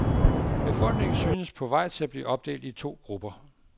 Befolkningen synes på vej til at blive opdelt i to grupper.